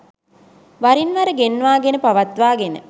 වරින්වර ගෙන්වාගෙන පවත්වාගෙන